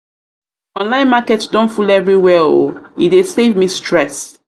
online market don full everywhere o e dey save me stress. stress.